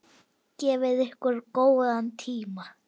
Gefið ykkur góðan tíma.